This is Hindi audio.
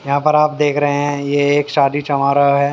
यहाँ पर आप देख रहे हैं ये एक शादी है।